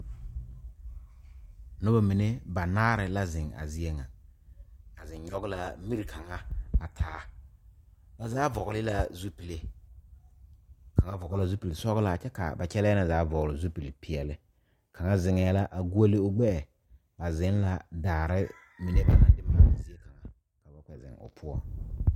Noba mine banaare la zeŋ a zie ŋa ba zeŋ nyoŋ la mire kaŋa a taa ba zaa vɔgle la zupele kaŋa vɔgle la zupele sɔglɔ kyɛ ka ba kyɛle na zaa vɔgle zupele peɛle kaŋa zeŋ la a goɔle o gbeɛ ba zeŋ la daare mine ba naŋ de maale zie kaŋa ka ba kpɛ zeŋ o poɔ.